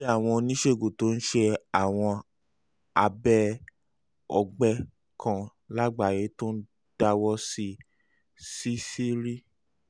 bí àwọn oníṣègùn tó ń ṣe àwọn abẹ́ ọ̀gbẹ́ kan lágbàáyé tó ń dáwọ́ sí ṣíṣírí